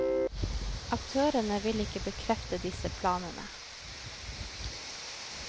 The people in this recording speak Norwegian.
Aktørene vil ikke bekrefte disse planene.